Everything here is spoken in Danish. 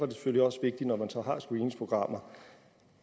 det selvfølgelig også vigtigt når man så har screeningsprogrammer